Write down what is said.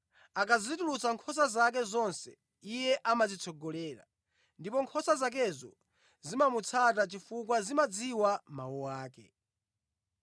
Akazitulutsa nkhosa zake zonse, iye amazitsogolera, ndipo nkhosa zakezo zimamutsata chifukwa zimadziwa mawu ake.